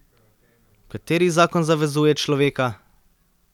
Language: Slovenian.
Kateri zakon zavezuje človeka?